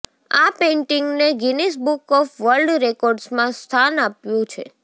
આ પેઇન્ટિંગને Guinness book of world રેકોર્ડ્સમાં સ્થાન મળ્યું છે